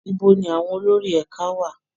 Ibo ni àwọn olórí ẹ̀ka wà?